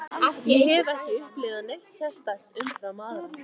Ég hef ekki upplifað neitt sérstakt umfram aðra.